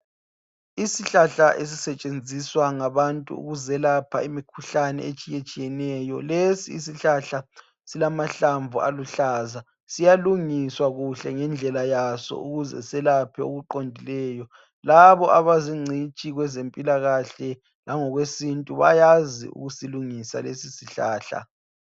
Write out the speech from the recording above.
Isihlahla esisetshenziswa ngabantu ukuzelapha imikhuhlane etshiyetshiyeneyo. Lesi isihlalhla silamahlamvu aluhlaza. Siyalungiswa kuhle ngendlela yaso, ukuze selaphe okuqondileyo. Labo abazingcitshi kwezempilakahle, langokwesintu, bayakwazi ukusilungisa lesisihlahla.